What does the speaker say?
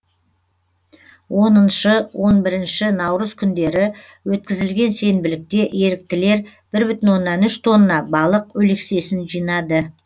оныншы он бірінші наурыз күндері өткізілген сенбілікте еріктілер бір бүтін оннан үш тонна балық өлексесін жинады